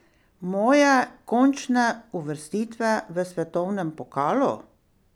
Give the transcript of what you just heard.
Moje končne uvrstitve v svetovnem pokalu?